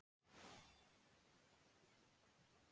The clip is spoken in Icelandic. Annað sæti í deildinni varð síðan niðurstaða.